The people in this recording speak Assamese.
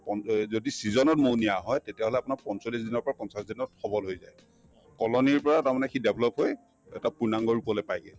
পণ‍ এই যদি season ত মৌ নিয়া হয় তেতিয়া হলে আপোনাৰ পঞ্চলিশ দিনৰ পৰা পঞ্চাশ দিনত সবল হৈ যায় colony ৰ পৰা তাৰমানে সি develop হৈ এটা পূৰ্ণাংগ ৰূপলে পাইগে